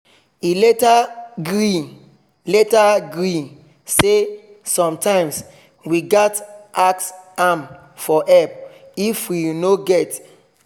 he later gree later gree say sometimes we gat ask am for help if we no get